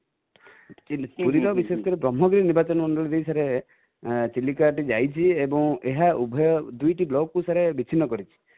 ପୁରୀ ର ବିଶେଷ କରି ବ୍ରହ୍ମଗିରି ନିର୍ବାଚନମଣ୍ଡଳୀ ଦେଇ ସାର ଚିଲିକା ଟି ଯାଇଛି ଏବୁଁ ଏହା ଉଭୟ, ଦୁଇଟା block କୁ sir ବିଛିନ୍ନ କରିଛି